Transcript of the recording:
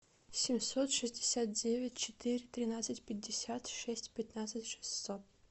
семьсот шестьдесят девять четыре тринадцать пятьдесят шесть пятнадцать шестьсот